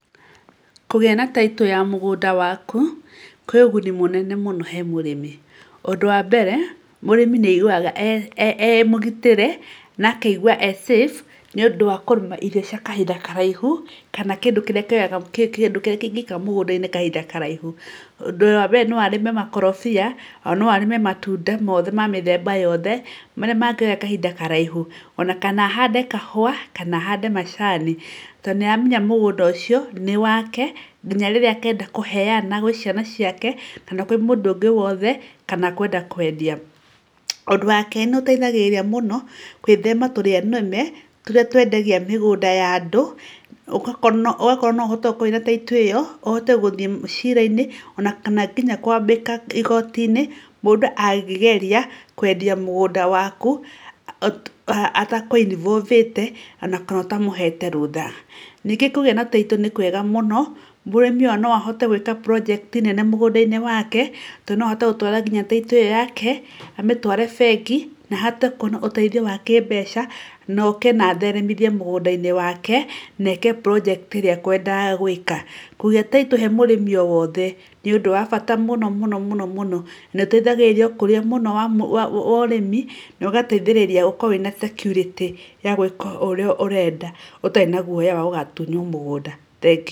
Kũgĩa na Title ya mũgũnda waku kwĩ ũguni mũnene mũno he mũrĩmi. Ũndũ wa mbere mũrĩmi nĩ aiguaga e mũgitĩre na akaigua e safe nĩ ũndũ wa kũrĩma irio cia kahinda karaihu kana kĩndũ kĩrĩa kĩoyaga kĩndũ kĩrĩa kĩngĩikara mũgũnda-inĩ kahinda karaihu. Ũndũ wa mbere no arĩme makorobia ona no arĩme matunda mothe ma mĩthemba yothe marĩa mangĩoya kahinda karaihu. Ona kana ahande kahũa kana ahande macani tondũ nĩ aremenya mũgũnda ũcio nĩ wake nginya rĩrĩa akenda kũheana gwĩ ciana ciake kana kwĩ mũndũ wothe kana kwenda kwendia. Ũndũ wa kerĩ nĩ ũteithagĩrĩria mũno gwĩthema tũrĩa nĩme tũrĩa twendagia mĩgũnda ya andũ. Ũgakora no ũhote gũkorwo wĩna Title ĩyo ũhote gũthiĩ ciira-inĩ ona kana nginya kwambĩka igooti-inĩ mũndũ angĩgeria kwendia mũgũnda waku ata kũ involve ĩte ona kana ũtamũhete rũtha. Ningĩ kũgĩa na Title nĩ kwega mũno, mũrĩmi ona no ahote gwĩka project mũgũnda-inĩ wake tondũ no ahote gũtwara nginya Title ĩyo yake, amĩtware nginya bengi na ahote kũheo ũteithio wa kĩmbeca na oke na atheremithie mũgũnda-inĩ wake na eke project ĩrĩa ekũendaga gwĩka. Kũgĩa Title he mũrĩmi o wothe nĩ ũndũ wa bata mũno nĩ ũteithagĩrĩria ,ukũria mũno wa ũrĩmi na ũgateithĩrĩria gũkorwo wĩna security ya gwĩka ũrĩa ũrenda ũtarĩ na guoya wa gũtunywo mũgũnda. Thengiũ.